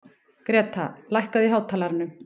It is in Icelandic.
Greta, lækkaðu í hátalaranum.